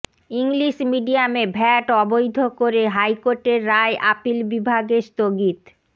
English মিডিয়ামে VAT অবৈধ করে হাইকোর্টের রায় আপিল বিভাগে স্থগিত